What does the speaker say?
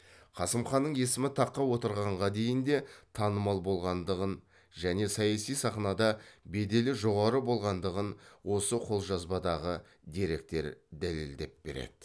қасым ханның есімі таққа отырғанға дейін де танымал болғандығын және саяси сахнада беделі жоғары болғандығын осы қолжазбадағы деректер дәлелдеп береді